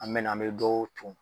An me na an bɛ dɔw cun